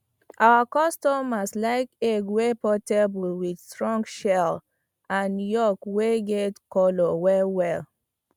our customers like egg wey portable with strong shell and yolk wey get colour well well